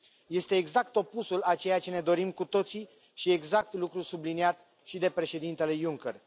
Este exact opusul a ceea ce ne dorim cu toții și exact lucrul subliniat și de președintele Juncker.